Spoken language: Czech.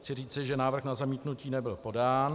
Chci říci, že návrh na zamítnutí nebyl podán.